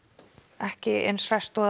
ekki eins hresst og